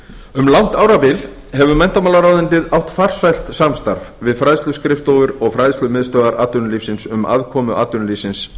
um langt árabil hefur menntamálaráðuneytið átt farsælt samstarf við fræðsluskrifstofur og fræðslumiðstöðvar atvinnulífsins um aðkomu atvinnulífsins